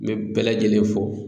N bɛ bɛɛ lajɛlen fo.